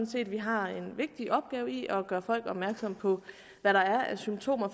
set at vi har en vigtig opgave i at gøre folk opmærksomme på hvad der er af symptomer